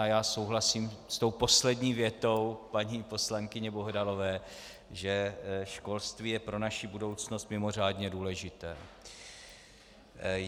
A já souhlasím s tou poslední větou paní poslankyně Bohdalové, že školství je pro naši budoucnost mimořádně důležité.